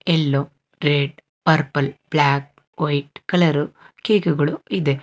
Yellow red purple black white colour ಕೇಕುಗಳು ಇದೆ.